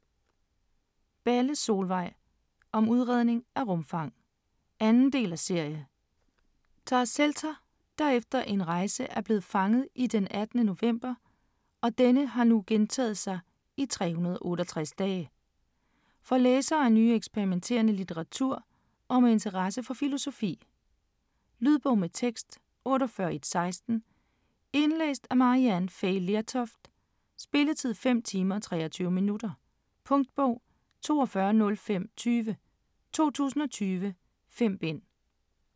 Balle, Solvej: Om udregning af rumfang 2. del af serie. Tara Selter, der efter en rejse er blevet fanget i den 18. november og denne har nu gentaget sig i 368 dage. For læsere af nyere eksperimenterende litteratur og med interesse for filosofi. Lydbog med tekst 48116 Indlæst af Maryann Fay Lertoft Spilletid: 5 timer, 23 minutter. Punktbog 420520 2020. 5 bind.